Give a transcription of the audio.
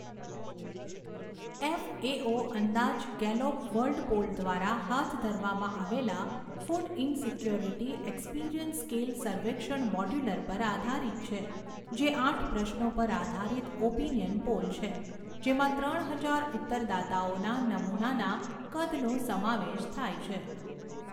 FAO અંદાજ Gallup world poll દ્વારા હાથ ધરવામાં આવેલા ફૂડ ઇનસિક્યોરિટી એક્સપિરિયન્સ સ્કેલ સર્વેક્ષણ મોડ્યુલ પર આધારિત છે, જે આઠ પ્રશ્નો પર આધારિત ઓપિનિયન પોલ છે, જેમાં ત્રણ હજાર ઉત્તરદાતાઓના નમૂનાના કદનો સમાવેશ થાય છે.